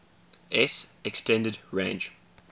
s extended range